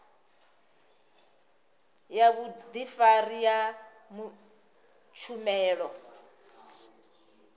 ya vhudifari ya tshumelo ya